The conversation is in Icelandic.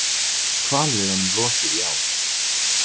Hvalveiðunum lokið í ár